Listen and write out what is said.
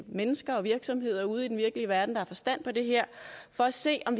mennesker og virksomheder ude i den virkelige verden der har forstand på det her for at se om